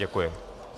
Děkuji.